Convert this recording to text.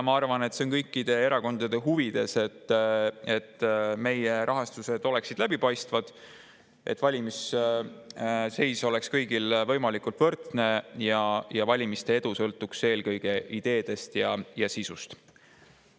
Ma arvan, et see on kõikide erakondade huvides, et meie rahastused oleksid läbipaistvad, et valimisseis oleks kõigil võimalikult võrdne ja valimiste edu sõltuks eelkõige ideedest ja sisust.